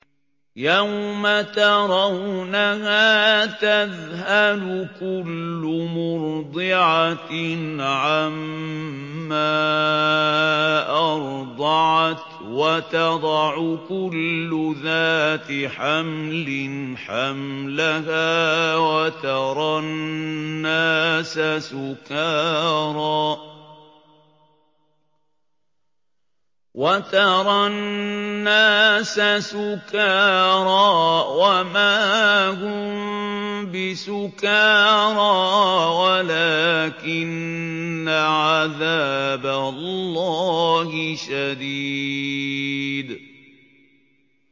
يَوْمَ تَرَوْنَهَا تَذْهَلُ كُلُّ مُرْضِعَةٍ عَمَّا أَرْضَعَتْ وَتَضَعُ كُلُّ ذَاتِ حَمْلٍ حَمْلَهَا وَتَرَى النَّاسَ سُكَارَىٰ وَمَا هُم بِسُكَارَىٰ وَلَٰكِنَّ عَذَابَ اللَّهِ شَدِيدٌ